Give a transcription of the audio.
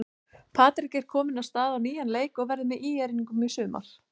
Patrik er kominn af stað á nýjan leik og verður með ÍR-ingum í sumar.